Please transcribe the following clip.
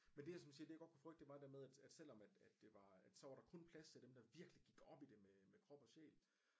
Men det jeg sådan siger det jeg godt kunne frygte det var det der med at selvom at at det var at så var der kun plads til dem der virkeligt gik op i det med krop og sjæl